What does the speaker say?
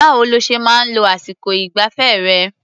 Báwo lo ṣe máa ń lo àsìkọ ìgbafẹ́ rẹ̀?